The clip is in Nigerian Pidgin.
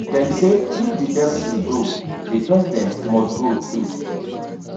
dem say if di deputy go di president must go too